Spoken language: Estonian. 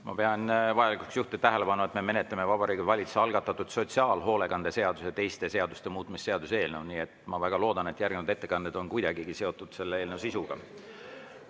Ma pean vajalikuks juhtida tähelepanu, et me menetleme Vabariigi Valitsuse algatatud sotsiaalhoolekande seaduse ja teiste seaduste muutmise seaduse eelnõu, ja ma väga loodan, et järgnevad ettekanded on kuidagigi seotud selle eelnõu sisuga.